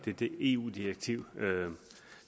det eu direktiv